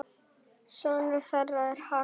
Sonur þeirra er Hrafn.